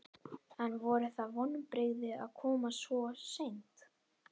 En voru það vonbrigði að koma svo seint?